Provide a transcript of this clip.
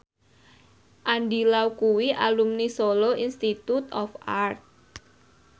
Andy Lau kuwi alumni Solo Institute of Art